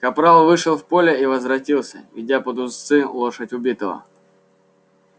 капрал вышел в поле и возвратился ведя под уздцы лошадь убитого